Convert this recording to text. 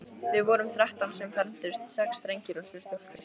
Við vorum þrettán sem fermdumst, sex drengir og sjö stúlkur.